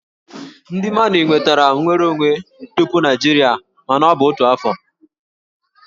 Ndị Mali nwetara nnwere onwe tupu Naịjirịa mana ọ bụ n'otu afọ